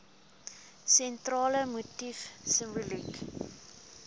sentrale motief simboliek